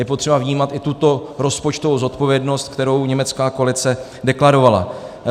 Je potřeba vnímat i tuto rozpočtovou zodpovědnost, kterou německá koalice deklarovala.